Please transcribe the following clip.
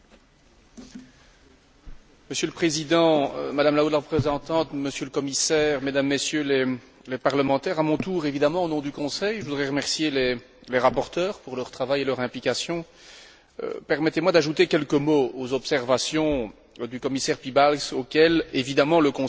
Monsieur le Président, Madame la Haute représentante, Monsieur le Commissaire, Mesdames, Messieurs les parlementaires, à mon tour, évidemment au nom du Conseil, je voudrais remercier les rapporteurs pour leur travail et leur implication. Permettez moi d'ajouter quelques mots aux observations du commissaire Piebalgs auxquelles, évidemment, le Conseil souscrit totalement.